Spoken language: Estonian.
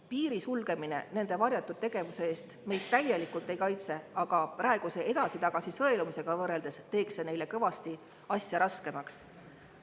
Piiri sulgemine nende varjatud tegevuse eest meid täielikult ei kaitse, aga praeguse edasi-tagasi sõelumisega võrreldes teeks see neile asja kõvasti raskemaks.